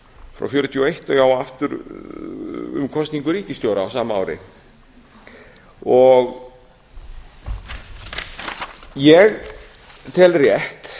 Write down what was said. frá nítján hundruð fjörutíu og eitt og aftur um kosningu ríkisstjóra á sama ári ég tel rétt